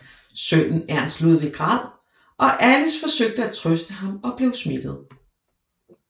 Sønnen Ernst Ludwig græd og Alice forsøgte at trøste ham og blev smittet